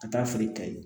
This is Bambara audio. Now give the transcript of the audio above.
Ka taa feere ka ye